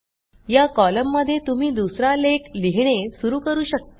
या कॉलममध्ये तुम्ही दुसरा लेख लिहिणे सुरू करू शकता